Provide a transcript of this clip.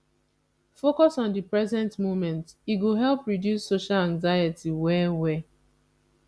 focus on the present moment e go help reduce social anxiety well well